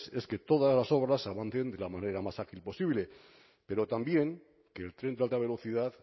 es que todas las obras avancen de la manera más ágil posible pero también que el tren de alta velocidad